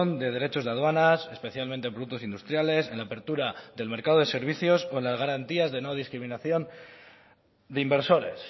de derechos de aduanas especialmente productos industriales en apertura del mercado de servicios con las garantías de no discriminación de inversores